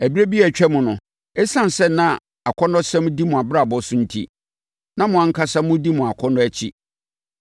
Ɛberɛ bi a atwam no, ɛsiane sɛ na akɔnnɔsɛm di mo abrabɔ so enti, na mo ankasa modi mo akɔnnɔ akyi.